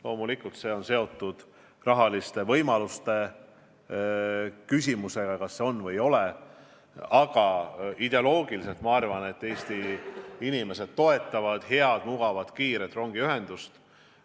Loomulikult see on seotud rahaliste võimalustega, kas neid on või ei ole, aga ideoloogiliselt minu arvates Eesti inimesed toetavad head, mugavat, kiiret rongiühendust.